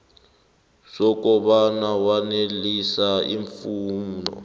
sokobana wanelisa iimfuno